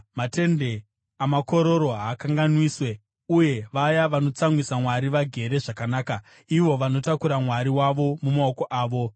Matende amakororo haakanganiswe, uye vaya vanotsamwisa Mwari vagere zvakanaka, ivo vanotakura mwari wavo mumaoko avo.